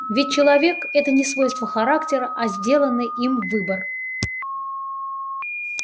ведь человек это не свойство характера а сделанный им выбор